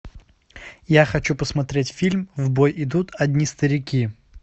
я хочу посмотреть фильм в бой идут одни старики